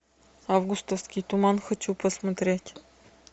августовский туман хочу посмотреть